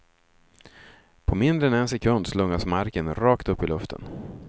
På mindre än en sekund slungas marken rakt upp i luften.